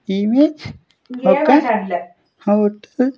Image ఒక్క hotel .